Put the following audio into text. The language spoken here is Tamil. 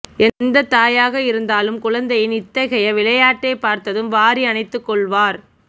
எந்த தாயாக இருந்தாலும் குழந்தையின் இத்தகைய விளயைாட்டைப் பார்த்ததும் வாரி அனைத்துக் கொள்வார்